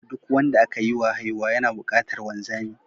Duk wanda aka yiwa haihuwa yana buƙatar wanzami.